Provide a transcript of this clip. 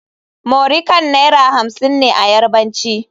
muri Kan Naira hamsin ne a Yarbanci.